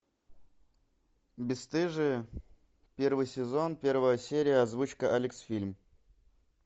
бесстыжие первый сезон первая серия озвучка алексфильм